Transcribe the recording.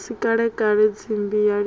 si kalekale tsimbi ya lila